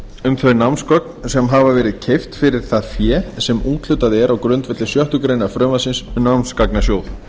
um þau námsgögn sem hafa verið keypt fyrir það fé sem úthlutað er á grundvelli sjöttu greinar frumvarpsins um námsgagnasjóð